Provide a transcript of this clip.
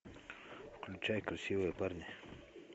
включай красивые парни